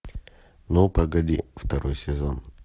ну погоди второй сезон